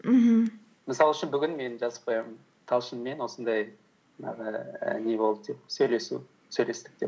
мхм мысал үшін бүгін мен жазып қоямын талшынмен осындай жаңағы ііі не болды деп сөйлесу сөйлестік деп